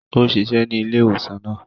Ó ṣiṣẹ ní ilé-ìwosan náà